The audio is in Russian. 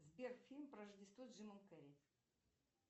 сбер фильм про рождество с джимом керри